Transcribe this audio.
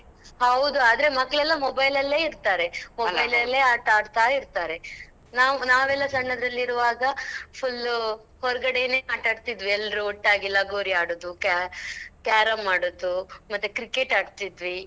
ಹೌದು ಆದ್ರೆ ಮಕ್ಳಳೆಲ್ಲ mobile ಅಲ್ಲೇ ಇರ್ತಾರೆ mobile ಅಲ್ಲೇ ಆಟ ಆಡ್ತಾ ಇರ್ತಾರೆ ನಾವ್ ನಾವೆಲ್ಲಾ ಸಣ್ಣದ್ರಲ್ಲಿ ಇರುವಾಗ full ಹೊರಗಡೆನೇ ಆಟ ಆಡ್ತಾ ಇದ್ವಿ ಎಲ್ಲ್ರು ಒಟ್ಟಾಗಿ ಲಗೋರಿ ಆಡುದು carrom ಆಡುದು ಮತ್ತೆ cricket ಆಡ್ತಿದ್ವಿ.